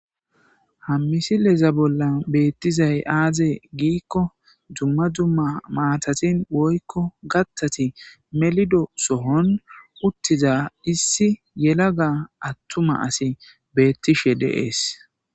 Ha missileza bolla bettizayiss aze gizayissa gidikko dumma dumma maatat woykko kaththat melido soohon uttida issi atuma yelaga asi betishshe des